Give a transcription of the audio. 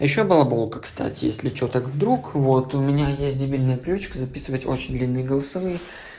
ещё балаболка кстати если что так вдруг вот у меня есть дебильная привычка записывать очень длинные голосовые